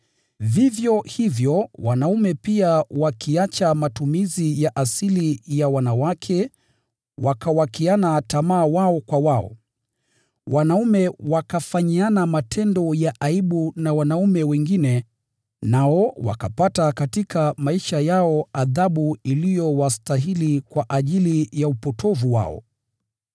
Vivyo hivyo wanaume pia wakiacha matumizi ya asili ya wanawake wakawakiana tamaa wao kwa wao. Wanaume wakafanyiana matendo ya aibu na wanaume wengine nao wakapata katika maisha yao adhabu iliyowastahili kwa ajili ya upotovu wao.